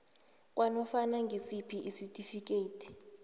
kwanofana ngisiphi isitifikeyiti